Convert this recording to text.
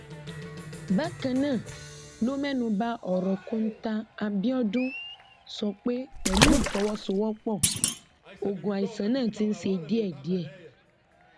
bákan náà ló mẹnu ba ọrọ kọńtà abiodun sọ pé pẹlú ìfọwọsowọpọ ogun àìsàn náà ti ń ṣe díẹdíẹ